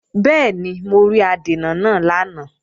Bẹ́ẹ̀ni, mo rí adènà náà lánàá